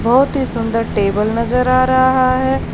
बहोत ही सुंदर टेबल नजर आ रहा है।